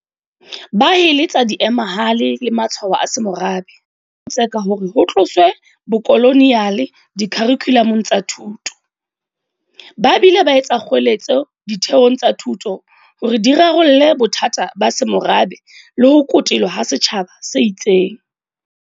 Ba heletsa diemahale le matshwao a semorabe, e le ho tseka hore ho tloswe bokoloniale dikharikhulamong tsa thuto, ba bile ba etsa kgoeletso ditheong tsa thuto hore di rarolle bothata ba semorabe le ho kotelwa ha setjhaba se itseng.